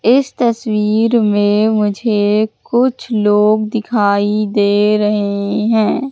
इस तस्वीर में मुझे कुछ लोग दिखाई दे रहे है।